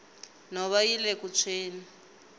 nhova yile ku tshweni